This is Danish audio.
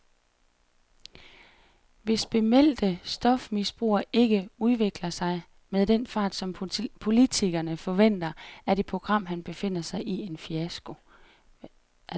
Hvis bemeldte stofmisbrugere ikke udvikler sig med den fart, som politikerne forventer, er det program, han befinder sig i, en fiasko.